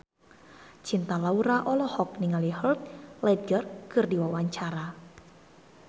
Cinta Laura olohok ningali Heath Ledger keur diwawancara